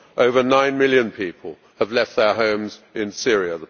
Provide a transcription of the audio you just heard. Over nine million people have left their homes in Syria.